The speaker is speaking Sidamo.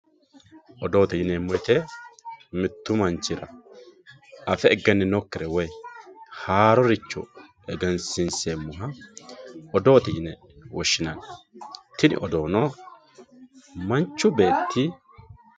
odoote yineemmo woyiite mittu manchira afe egenninokkire woy haaroricho egensiinseemmoha odoote yine woshshinanni tini odoono manchu beetti